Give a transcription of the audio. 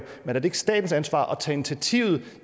men er det ikke statens ansvar at tage initiativet